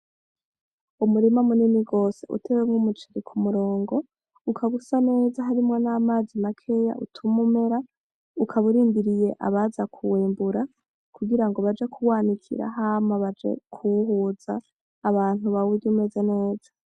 Umurima munini gose utewemwo umuceri k'umurongo, ukaba usa neza harimwo n'amazi makeya utuma umera. Ukaba urindiye abaza kuwumbura kugira ngo baje kuwanikira hama baje kuwuhuza, abantu bawurye umeze neza.